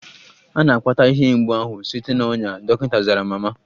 A na-akpata ihe mgbu ahụ site na ọnya, dọkịta zara mama.